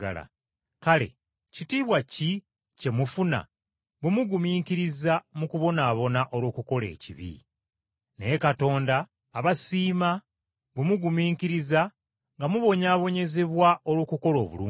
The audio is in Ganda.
Kale kitiibwa ki kye mufuna bwe mugumiikiriza mu kubonaabona olw’okukola ekibi? Naye Katonda abasiima bwe mugumiikiriza nga mubonyaabonyezebwa olw’okukola obulungi.